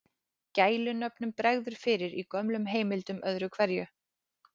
Gælunöfnum bregður fyrir í gömlum heimildum öðru hverju.